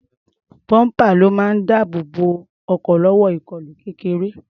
Bọ́ḿpà ló máa ń dáàbò bo ọkọ̀ lọ́wọ́ ìkọlù kéreké.